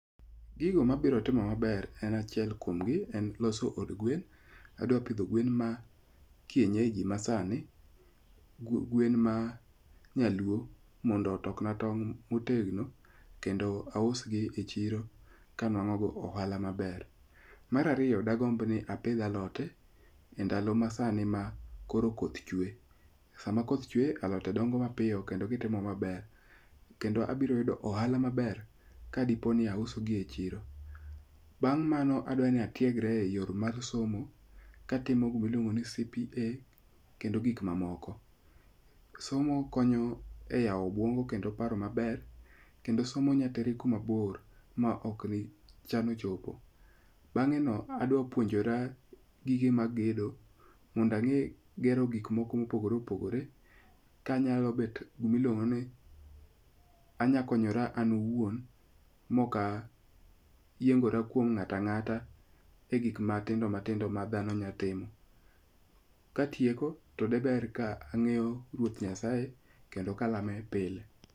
Gigo mabiro timo maber en achiel kuomgi e loso od gwen. Adwa pidho gwen ma kienyeji masani. Gwen ma nyaluo mondo otok na tong' motegno kendo aus gi e chiro kama anwang'o ohala maber. Mar ariyo, dagomb ni apidh alote e ndalo ma sani ma koro koth chwe. Sama koth chwe alote dongo mapiyo kendo gitimo maber. Kendo abiro yudo ohala maber ka dipo ni auso gi e chiro. Bang' mano adwa ni atiegre e yor mar somo katimo gimoro miluongo ni CPA kendo gik mamoko. Somo konyo e yaw obwongo kendo paro maber. Kendo somo nyateri kuma bor ma ok ni chano chopo. Bang'e no adwa puonjora gige mag gedo. Mond ang'e gero gik moko mopogore opogore kanyalo bet gimiluongo ni anya konyora an owuon mok ayiengora kuon ng'at ang'ata e gik matindo matindo ma dhano nya timo. Katieko to de ber ka ang'eyo ruoth Nyasaye kendo kalame pile.